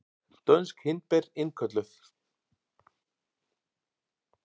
Dönsk hindber innkölluð